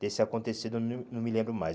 Desse acontecido eu não não me lembro mais.